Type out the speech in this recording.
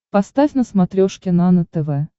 поставь на смотрешке нано тв